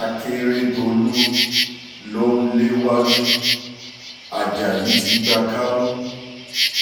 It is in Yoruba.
akérèdọ́lù ló ń léwájú ajayi ti gba kámú